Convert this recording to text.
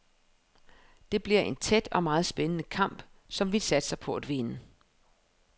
Det bliver en tæt og meget spændende kamp, som vi satser på at vinde.